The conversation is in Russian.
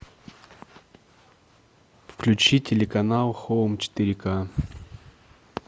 включи телеканал хоум четыре ка